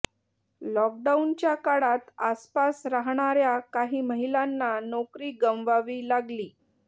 लॉकडाऊनच्या काळात आसपास राहणाऱ्या काही महिलांना नोकरी गमवावी लागली